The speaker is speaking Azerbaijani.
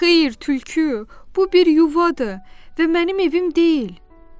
Xeyr, tülkü, bu bir yuvadır və mənim evim deyil.